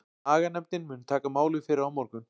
Aganefndin mun taka málið fyrir á morgun.